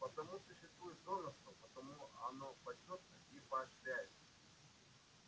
потому существует донорство потому оно почётно и поощряется